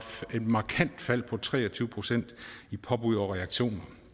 et markant fald på tre og tyve procent i påbud og reaktioner